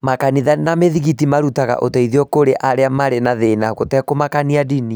Makanitha na mĩthigiti marutaga ũteithio kũrĩ arĩa marĩ na thĩna, gũtekũmakania ndini.